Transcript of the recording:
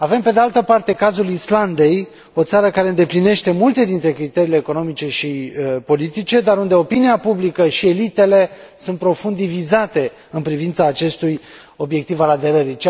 Avem, pe de altă parte, cazul Islandei, o țară care îndeplinește multe dintre criteriile economice și politice, dar unde opinia publică și elitele sunt profund divizate în privința acestui obiectiv al aderării.